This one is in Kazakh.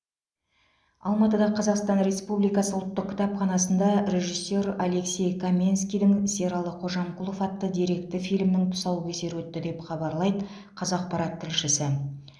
алматыда қазақстан республикасы ұлттық кітапханасында режиссер алексей каменскийдің сералы қожамқұлов атты деректі фильмнің тұсаукесері өтті деп хабарлайды қазақпарат тілшісі